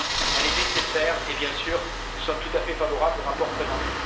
elle est nécessaire et, bien sûr, nous sommes tout à fait favorables au rapport présenté.